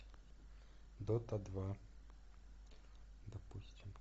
дота два допустим